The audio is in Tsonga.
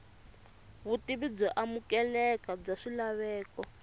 vutivi byo amukeleka bya swilaveko